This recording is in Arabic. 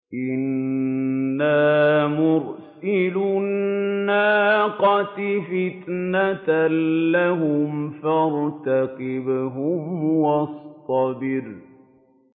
إِنَّا مُرْسِلُو النَّاقَةِ فِتْنَةً لَّهُمْ فَارْتَقِبْهُمْ وَاصْطَبِرْ